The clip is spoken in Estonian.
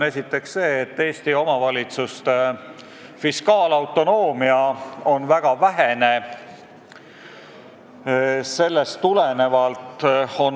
Esiteks, Eesti omavalitsuste fiskaalautonoomia on väga vähene.